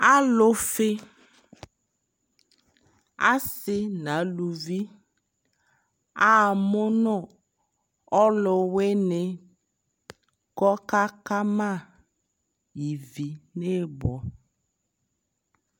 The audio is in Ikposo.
Alufi asi na luvi amu nu ɔlu wini kɔka ka ma ivi ni bɔ